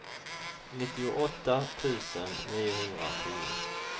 nittioåtta tusen niohundratio